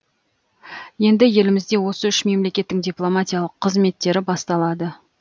енді елімізде осы үш мемлекеттің дипломатиялық қызметтері басталады